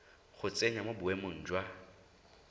go tsenya mo boemeng jwa